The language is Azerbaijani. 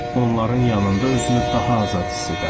Onların yanında özünü daha azad hiss edərdi.